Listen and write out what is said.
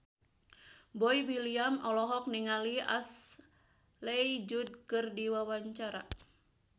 Boy William olohok ningali Ashley Judd keur diwawancara